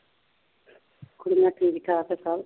ਕੁੜੀਆਂ ਠੀਕ ਠਾਕ ਆ ਸਭ